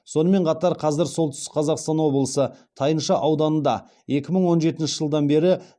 сонымен қатар қазір солтүстік қазақстан облысы тайынша ауданында екі мың он жетінші жылдан бері дәнді дақылдарды терең өңдеуге маманданған